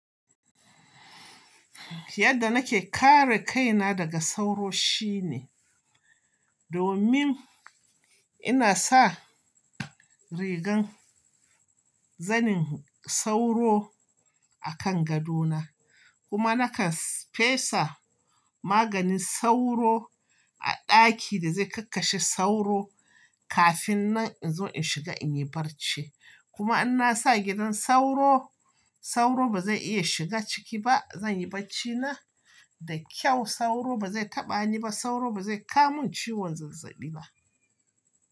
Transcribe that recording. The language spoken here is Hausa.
Yadda nake kare kaina daga sauro shine domin ina sa rigan zanin sauro a kan gado na. Kuma nakan fesa maganin sauro a ɗaki da zai kakashe sauro kafin na in zo in shiga in yi barci. Kuma in na sa gidan sauro, sauro ba zai iya shiga ciki ba. Zan yi barci na da kyau, sauro ba zai taɓa ni ba, sauro ba zai ka mun ciwon zazzaɓi ba.